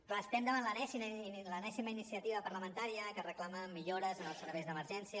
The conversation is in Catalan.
clar estem davant l’enèsima iniciativa parlamentària que reclama millores en els serveis d’emergència